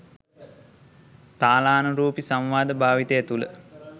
තාලානුරූපී සංවාද භාවිතය තුළ